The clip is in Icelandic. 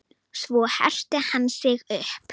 Svo herti hann sig upp.